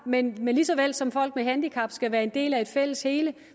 men lige så vel som folk med handicap skal være en del af et fælles hele